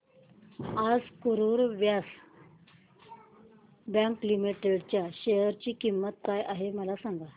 आज Karur Vysya bank limited च्या share ची किंमत काय आहे मला सांगा